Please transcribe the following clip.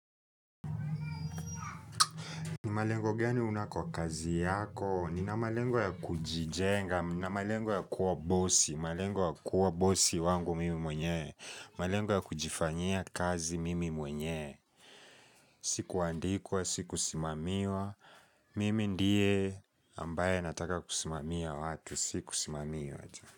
Malengo gani unayo kwa kazi yako, nina malengo ya kujijenga, nina malengo ya kuwa bosi, malengo ya kuwa bosi wangu mimi mwenyewe, malengo ya kujifanyia kazi mimi mwenyewe, si kuandikwa, si kusimamiwa, mimi ndiye ambaye nataka kusimamia watu si kusimamiwa.